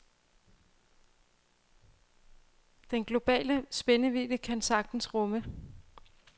Den store globale spændvidde kan han sagtens rumme.